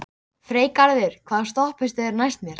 Freygarður, hvaða stoppistöð er næst mér?